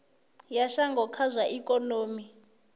ya shango kha zwa ikonomi